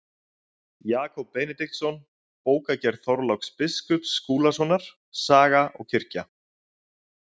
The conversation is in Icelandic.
Jakob Benediktsson, Bókagerð Þorláks biskups Skúlasonar, Saga og kirkja.